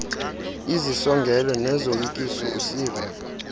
izisongelo nezoyikiso usiva